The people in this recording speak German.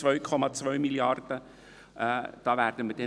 Da werden wir uns noch wundern.